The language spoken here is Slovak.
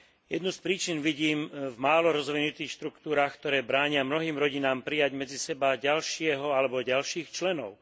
Jednu z príčin vidím v málo rozvinutých štruktúrach, ktoré bránia mnohým rodinám prijať medzi seba ďalšieho alebo ďalších členov.